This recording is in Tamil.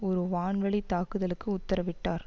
ஒரு வான் வழி தாக்குதலுக்கு உத்தரவிட்டார்